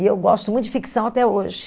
E eu gosto muito de ficção até hoje.